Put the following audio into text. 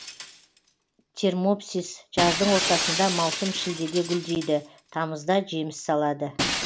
термопсис жаздың ортасында маусым шілдеде гүлдейді тамызда жеміс салады